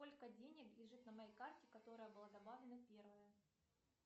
сколько денег лежит на моей карте которая была добавлена первая